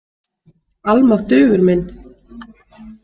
Almáttugur minn.